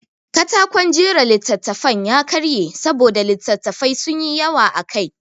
Katakon jera littattafan ya karye saboda littattafai sun yi yawa akai.